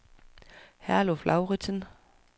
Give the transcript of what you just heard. Herluf Lauritzen